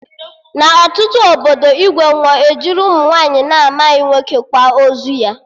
Na ọtụtụ obodo, igwe nwụọ, ejiri ụmụ nwaanyị na-amaghị nwoke kwa ozu ya